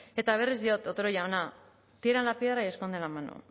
eta berriz diot otero jauna tiran la piedra y esconden la mano